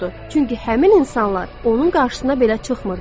çünki həmin insanlar onun qarşısına belə çıxmırdı.